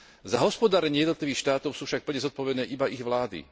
Za hospodárenie jednotlivých štátov sú však plne zodpovedné iba ich vlády.